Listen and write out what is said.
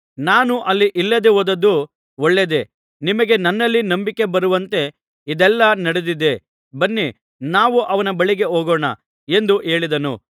ನಾನು ಅಲ್ಲಿ ಇಲ್ಲದೆ ಹೋದದ್ದು ಒಳ್ಳೆಯದೇ ನಿಮಗೆ ನನ್ನಲ್ಲಿ ನಂಬಿಕೆ ಬರುವಂತೆ ಇದೆಲ್ಲಾ ನಡೆದಿದೆ ಬನ್ನಿ ನಾವು ಅವನ ಬಳಿಗೆ ಹೋಗೋಣ ಎಂದು ಹೇಳಿದನು